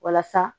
Walasa